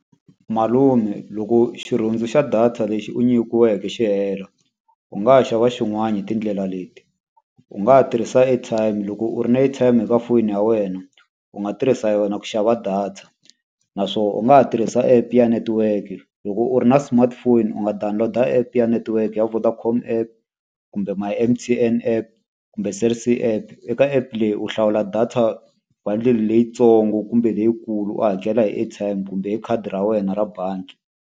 Malume loko xirhundzu xa data lexi u nyikiweke xi hela, u nga ha xava xin'wana hi tindlela leti. U nga ha tirhisa airtime. Loko u ri na airtime eka foyini ya wena, u nga tirhisa yona ku xava data. Naswona u nga ha tirhisa app ya network-e. Loko u ri na smartphone u nga download-a app ya network ya Vodacom app kumbe My M_T_N app kumbe Cell C app. Eka app leyi u hlawula data bundle leyitsongo kumbe leyikulu u hakela hi airtime, kumbe hi khadi ra wena ra bangi.